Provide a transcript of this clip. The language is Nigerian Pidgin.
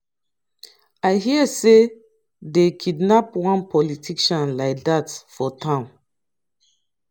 i hear say dey kidnap one politician like dat for town.